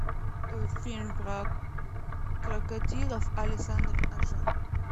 фильм про крокодилов александр ажа